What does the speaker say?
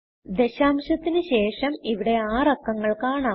ദശാംശത്തിന് ശേഷം ഇവിടെ 6 അക്കങ്ങൾ കാണാം